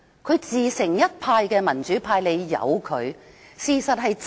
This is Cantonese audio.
他自成一派，民主派應該由得他。